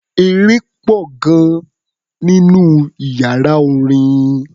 Eré pọ̀ gan-an nínú iyàrá orin.